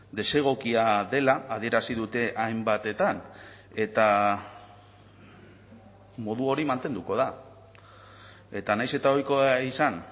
desegokia dela adierazi dute hainbatetan eta modu hori mantenduko da eta nahiz eta ohikoa izan